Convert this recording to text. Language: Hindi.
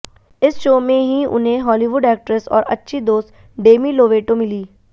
इस शो में ही उन्हें हॉलीवुड एक्ट्रेस और अच्छी दोस्त डेमी लोवेटो मिली